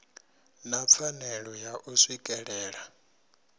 na pfanelo ya u swikelela